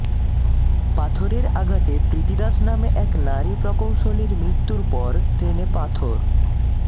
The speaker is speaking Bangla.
পাথরের আঘাতে প্রীতি দাশ নামে এক নারী প্রকৌশলীর মৃত্যুর পর ট্রেনে পাথর